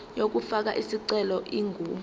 yokufaka isicelo ingu